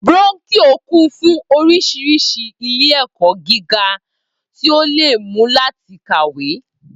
Brónkíò kún fún orísirísi ilé èkọ́ gíga tí ó leè mú láti kàwé